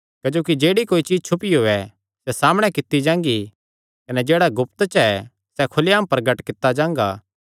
क्जोकि जेह्ड़ी कोई चीज्ज छुपियो ऐ सैह़ सामणै कित्ती जांगी कने जेह्ड़ा गुप्त च ऐ सैह़ खुल्लेआम प्रगट कित्ता जांगा